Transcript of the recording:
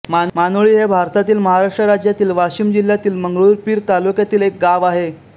मानोळी हे भारतातील महाराष्ट्र राज्यातील वाशिम जिल्ह्यातील मंगरुळपीर तालुक्यातील एक गाव आहे